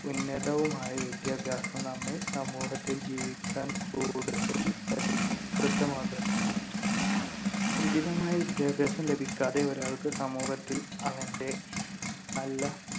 ഉന്നതവുമായ വിദ്യാഭ്യാസം നമ്മെ സമൂഹത്തിൽ ജീവിക്കാൻ കൂടുതൽ പരിഷ്ക്രിതമാകും. ഉചിതമായ വിദ്യാഭ്യാസം ലഭിക്കാതെ ഒരാൾക്ക് സമൂഹത്തിൽ അവന്‍റെ നല്ല